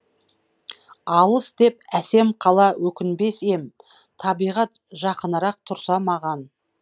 алыс деп әсем қала өкінбес ем табиғат жақынырақ тұрса маған